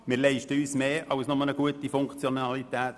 Wir leisten uns mehr als nur eine gute Funktionalität;